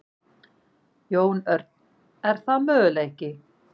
Jón Örn: Er það möguleiki?